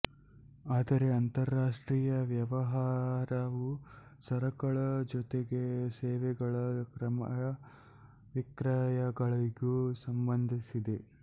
ಆದರೆ ಅಂತರಾಷ್ಟ್ರೀಯ ವ್ಯವಹಾರವು ಸರಕುಗಳ ಜೊತೆಗೆ ಸೇವೆಗಳ ಕ್ರಯ ವಿಕ್ರಯಗಳಿಗೂ ಸಂಬಂಧಿಸಿದೆ